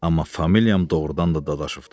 Amma familiyam doğurdan da Dadaşovdu.